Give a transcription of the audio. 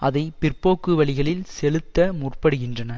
அதை பிற்போக்கு வழிகளில் செலுத்த முற்படுகின்றன